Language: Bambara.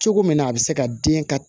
Cogo min na a bi se ka den ka